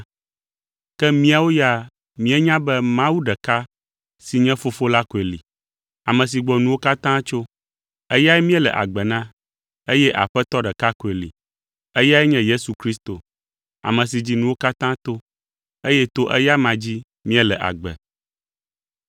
ke míawo ya, míenya be Mawu ɖeka si nye fofo la koe li, ame si gbɔ nuwo katã tso. Eyae míele agbe na, eye Aƒetɔ ɖeka koe li. Eyae nye Yesu Kristo, ame si dzi nuwo katã to, eye to eya dzi míele agbe.